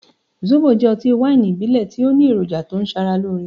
Zóbo jẹ́ ọtí wáìnì ìbílẹ̀ tí ó ní èròjà tí ń ṣe ara lóore.